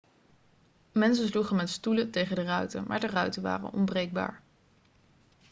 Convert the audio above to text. mensen sloegen met stoelen tegen de ruiten maar de ruiten waren onbreekbaar